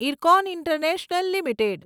IRCON international limited